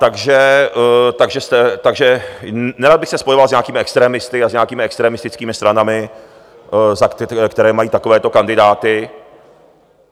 Takže nerad bych se spojoval s nějakými extremisty a s nějakými extremistickými stranami, které mají takovéto kandidáty.